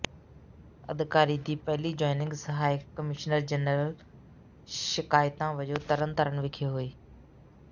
ਅਧਿਕਾਰੀ ਦੀ ਪਹਿਲੀਂ ਜੁਆਇੰਨਗ ਸਹਾਇਕ ਕਮਿਸ਼ਨਰ ਜਨਰਲ ਸ਼ਿਕਾਇਤਾ ਵਜੋਂ ਤਰਨ ਤਾਰਨ ਵਿਖੇ ਹੋਈ ਹੈ